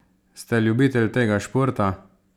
Ste ljubitelj tega športa?